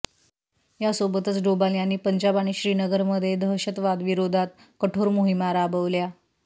यासोबतच डोभाल यांनी पंजाब आणि श्रीनगरमध्ये दहशतवादविरोधात कठोर मोहिमा राबवल्या